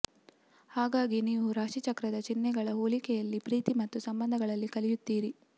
ಹಾಗಾಗಿ ನೀವು ರಾಶಿಚಕ್ರದ ಚಿಹ್ನೆಗಳ ಹೋಲಿಕೆಯಲ್ಲಿ ಪ್ರೀತಿ ಮತ್ತು ಸಂಬಂಧಗಳಲ್ಲಿ ಕಲಿಯುತ್ತೀರಿ